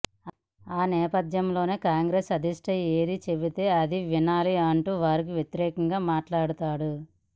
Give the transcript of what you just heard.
ఆ నేపథ్యంలోనే కాంగ్రెస్ అధిష్టానం ఏది చెబితే అది వినలా అంటూ వారికి వ్యతిరేకంగా మాట్లాడాడు